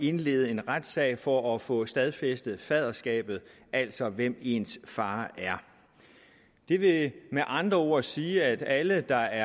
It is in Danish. indlede en retssag for at få stadfæstet faderskabet altså hvem ens far er det vil med andre ord sige at alle der